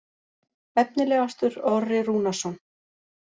Efnilegastur: Orri Rúnarsson.